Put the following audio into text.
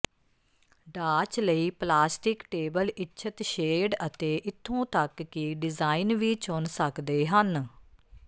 ਡਾਚ ਲਈ plastic table ਇੱਛਤ shade ਅਤੇ ਇੱਥੋਂ ਤੱਕ ਕਿ ਡਿਜ਼ਾਇਨ ਵੀ ਚੁਣ ਸਕਦੇ ਹਨ